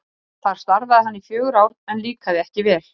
Þar starfaði hann í fjögur ár en líkaði ekki vel.